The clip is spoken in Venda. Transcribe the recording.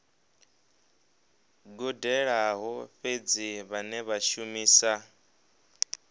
gudelaho fhedzi vhane vha shumisa